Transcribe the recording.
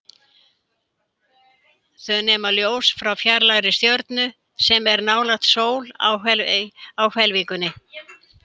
Þau nema ljós frá fjarlægri stjörnu, sem er nálægt sól á hvelfingunni.